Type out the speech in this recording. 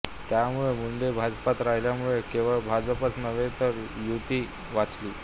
त्यामुळे मुंडे भाजपत राहिल्यामुळे केवळ भाजपच नव्हे तर युती वाचली